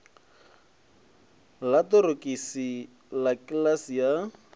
ḽa ṱorokisi ḽa kiḽasi ya